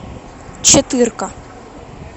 четырка